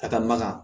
A ka magan